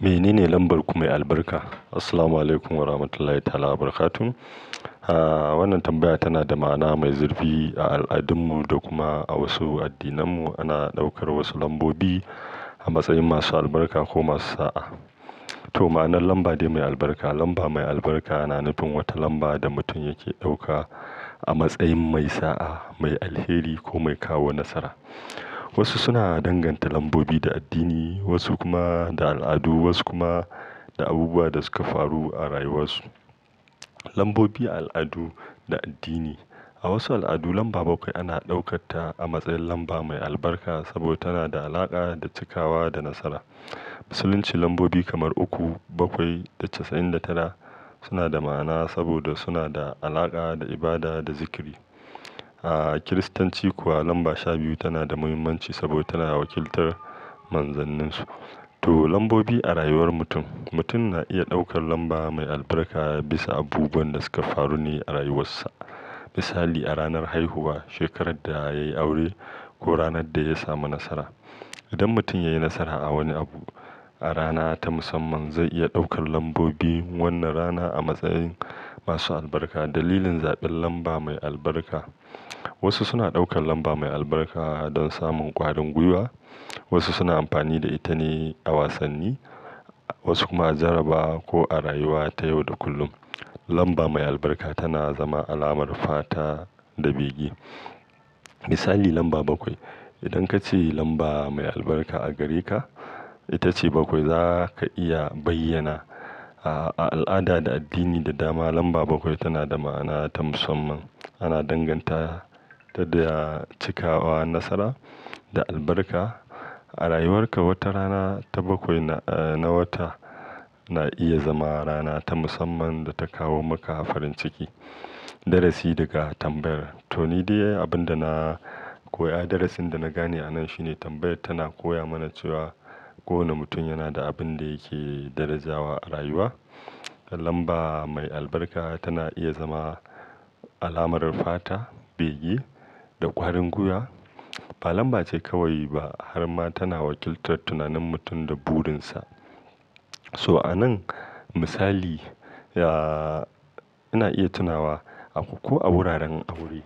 Me nene lambar ku mai albarka? Assalamualaikum Warahmatullahi Ta'ala Wabarakatuh. Ah, wannan tambaya tana da ma'na mai zurfi a al'adun mu da kuma a wasu addinan mu. Ana ɗaukar wasu lambobi a matsayin masu albarka ko masu sa'a. To, ma'anar lamba dai mai albarka, lamba mai albarka na nufin wata lamba da mutum yake ɗauka a matsayin mai sa'a, mai alheri ko mai kawo nasara. Wasu suna danganta lambobi da addini, wasu kuma da al'adu, wasu kuma da abubuwan da suka faru a rayuwar su. Lambobi a al'adu da addini. A wasu al'adu lamba bakwai ana ɗaukarta a matsayin lamba mai albarka saboda tana da alaƙa da cikawa da nasara. Musulunci lambobi kamar uku, bakwai da casa'in da tara suna da ma'ana saboda suna da alaƙa da ibada da zikri. A Kiristanci kuwa lamba sha biyu tana da muhimmanci saboda tana wakiltar manzanninsu. To lambobi a rayuwar mutum. Mutum na iya ɗaukar lamba mai albarka bisa abubuwan da suka faru ne a rayuwarsa. Misali a ranar haihuwa, shekarar da ya yi aure ko ranar da ya samu nasara. Idan mutum ya yi nasara a wani abu a rana ta musamman, zai iya ɗaukar lambobi wannan rana a matsayin masu albarka. Dalilin zaɓin lamba mai albarka. Wasu suna ɗaukar lamba mai albarka don samun ƙwarin gwiwa, wasu suna amfani da ita ne a wasanni, wasu kuma a jaraba ko a rayuwa ta yau da kullum. Lamba mai albarka tana zama alamar fata da bege. Misali lamba bakwai. Idan ka ce lamba mai albarka a gare ka ita ce bakwai, za ka iya bayyana. A al'ada da addini da dama lamba bakwai tana da ma'ana ta musamman. Ana danganta ta da cikawa, nasara da albarka. A rayuwar ka wata rana ta bakwai na, ah, na wata na iya zama rana ta musamman da ta kawo maka farin ciki. Darasi daga tambayar. To ni dai abin da na koya, darasin da na gane a nan shine tambayar tana koya mana cewa kowane mutum yana da abin da yake darajawa a rayuwa. Lamba mai albarka tana iya zama alamar fata, bege da ƙwarin guya. Ba lamba ce kawai ba har ma tana wakiltar tunanin mutum da burin sa. So a nan misali, ya, ina iya tunawa a uku a wuraren aure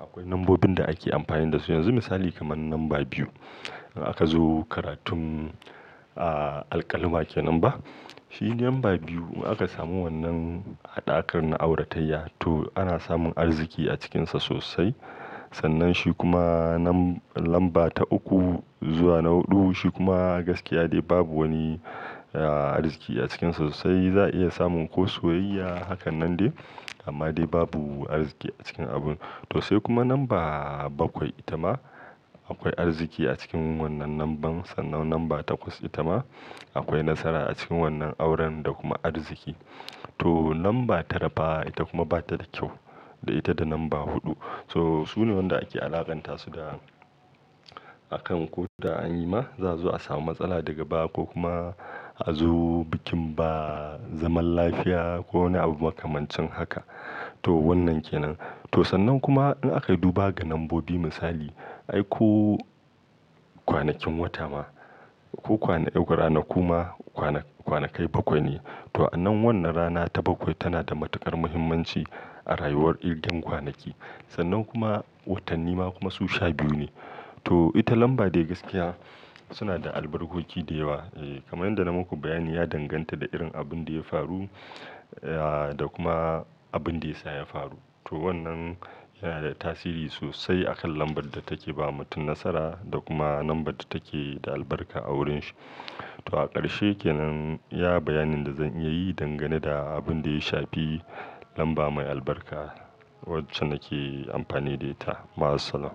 akwai lambobin da ake amfani da su. Yanzu misali kamar lamba biyu. In aka zo karatun, ah, alƙalma ke nan ba, shi ne lamba biyu aka samu wannan a ɗakar na auratayya to ana samun arziki a cikin sa sosai. Sannan shi kuma nan lamba ta uku zuwa na huɗu shi kuma gaskiya dai babu wani, ahh, riski a cikin sa sosai. Za a iya samun ko soyayya hakan nan dai amma dai babu arziki a cikin abun. To sai kuma lamba bakwai ita ma akwai arziki a cikin wannan lamban. Sannan lamba takwas ita ma akwai nasara a cikin wannan auren da kuma arziki. To lamba tara fa ita kuma ba ta da kyau da ita da lamba huɗu. To su ne waɗanda ake alaƙanta su da akan ko da an yi ma za a zo a samu matsala daga baya ko kuma a zo bikin ba zaman lafiya ko wani abu makamancin haka. To wannan ke nan. To sannan kuma in aka yi duba ga lambobi misali, ai ko kwanakin wata ma ko kwana eg ranaku ma kwana kwanakai bakwai ne. To a nan wannan rana ta bakwai tana da matuƙar muhimmanci a rayuwar irgen kwanaki. Sannan kuma watanni ma kuma su sha biyu ne. To ita lamba dai gaskiya suna da albarkoki da yawa. Eh kamar yadda na maku bayani ya danganta da irin abin da ya faru, ya, da kuma abin da ya sa ya faru. To wannan yana da tasiri sosai a kan lambar da take ba mutum nasara da kuma lambar da take da albarka a wurin shi. To a ƙarshe ke nan iya bayanin da zan iya yi dangane da abin da ya shafi lamba mai albarka wacce nake amfani da ita. Ma as sallam.